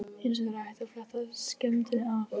Hins vegar er hægt að fletta skemmdinni af.